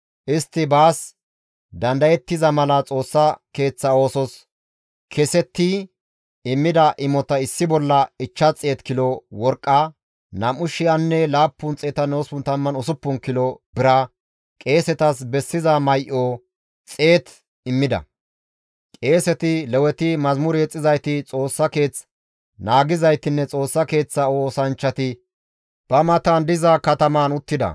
Qeeseti, Leweti, mazamure yexxizayti, Xoossa keeth naagizaytinne Xoossa Keeththa oosanchchati ba matan diza katamaan uttida; qasse attida Isra7eele asati kase istta aawati izan de7iza kataman uttida.